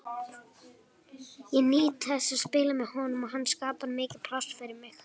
Ég nýt þess að spila með honum og hann skapar mikið pláss fyrir mig.